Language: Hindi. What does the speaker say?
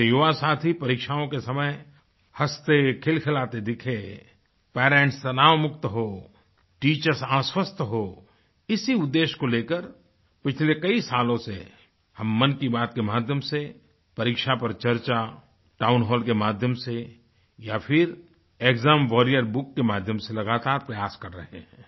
मेरे युवासाथी परीक्षाओं के समय हँसतेखिलखिलाते दिखें पेरेंट्स तनाव मुक्त होंटीचर्स आश्वस्त हों इसी उद्देश्य को लेकर पिछले कई सालों से हममन की बात के माध्यम से परीक्षा पर चर्चाTown हॉल के माध्यम से या फिर एक्साम warriorएस बुक के माध्यम से लगातार प्रयास कर रहें हैं